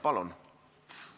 Palun!